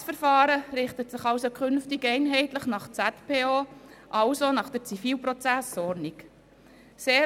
Dieses Verfahren richtet sich künftig einheitlich nach der Schweizerischen Zivilprozessordnung (Zivilprozessordnung, ZPO).